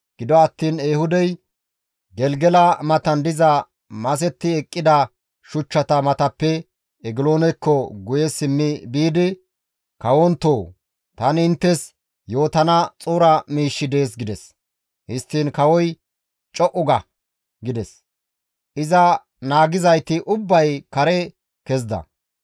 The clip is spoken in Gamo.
Gido attiin Ehuudey Gelgela matan diza masetti eqqida shuchchata matappe Egiloonekko guye simmi biidi, «Kawontoo! Tani inttes yootana xuura miishshi dees» gides. Histtiin kawoy, «Co7u ga!» gides; iza naagizayti ubbay kare kezida.